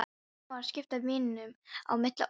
Hann var að skipta víninu á milli okkar!